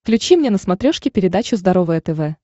включи мне на смотрешке передачу здоровое тв